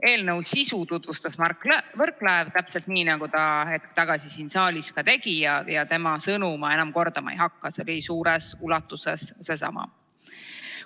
Eelnõu sisu tutvustas Mart Võrklaev, täpselt nii, nagu ta hetk tagasi ka siin saalis tegi, ja tema sõnu ma enam kordama ei hakka, see oli suures ulatuses seesama.